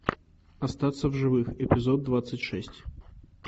остаться в живых эпизод двадцать шесть